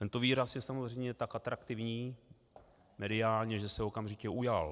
Tento výraz je samozřejmě tak atraktivní mediálně, že se okamžitě ujal.